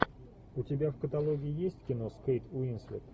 у тебя в каталоге есть кино с кейт уинслет